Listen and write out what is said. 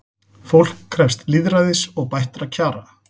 Fólk krefst lýðræðis og bættra kjara